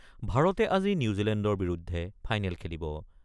ভাৰতে আজি নিউজীলেণ্ডৰ বিৰুদ্ধে ফাইনেল খেলিব।